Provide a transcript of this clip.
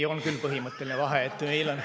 Ei, on küll põhimõtteline vahe, et meil on …